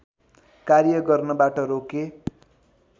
कार्य गर्नबाट रोके